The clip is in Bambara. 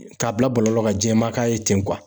K'a bila bɔlɔlɔ ka jɛman k'a ye ten